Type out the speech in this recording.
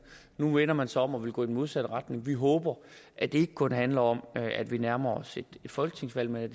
nu vender man sig om og vil gå i den modsatte retning vi håber at det ikke kun handler om at vi nærmer os et folketingsvalg men at